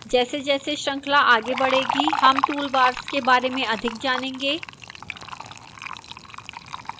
जैसेजैसे श्रृंखला आगे बढ़ेगी हम toolbars के बारे में अधिक जानेंगे